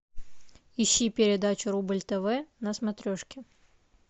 ищи передачу рубль тв на смотрешке